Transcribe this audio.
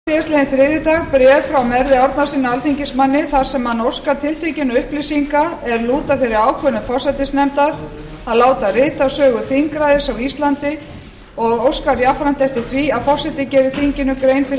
forseta barst síðastliðinn þriðjudag bréf frá merði árnasyni alþingismanni þar sem hann óskar tiltekinna upplýsinga er lúta að þeirri ákvörðun forsætisnefndar að láta rita sögu þingræðis á íslandi og óskar jafnframt eftir því að forseti geri þinginu grein fyrir